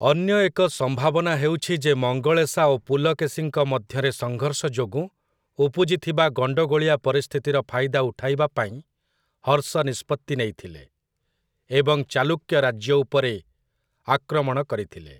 ଅନ୍ୟ ଏକ ସମ୍ଭାବନା ହେଉଛି ଯେ ମଙ୍ଗଳେଶା ଓ ପୁଲକେଶୀଙ୍କ ମଧ୍ୟରେ ସଂଘର୍ଷ ଯୋଗୁଁ ଉପୁଜିଥିବା ଗଣ୍ଡଗୋଳିଆ ପରିସ୍ଥିତିର ଫାଇଦା ଉଠାଇବା ପାଇଁ ହର୍ଷ ନିଷ୍ପତ୍ତି ନେଇଥିଲେ, ଏବଂ ଚାଲୁକ୍ୟ ରାଜ୍ୟ ଉପରେ ଆକ୍ରମଣ କରିଥିଲେ ।